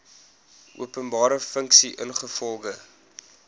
openbare funksie ingevolge